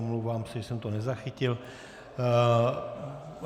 Omlouvám se, že jsem to nezachytil.